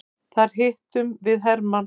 Þar hittum við hermann.